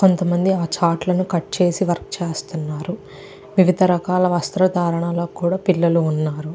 కొంతమంది ఆ చార్ట్ లను కట్ చేసి వర్క్ చేస్తున్నారు వివిధ రకాల వస్త్ర ధారణ లో కూడా పిల్లలు ఉన్నారు.